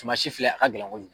Suman si filɛ a ka gɛlɛn kojugu.